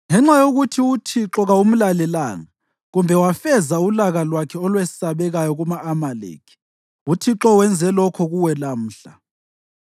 Ngenxa yokuthi uThixo kawumlalelanga kumbe wafeza ulaka lwakhe olwesabekayo kuma-Amaleki, uThixo wenze lokhu kuwe lamhla.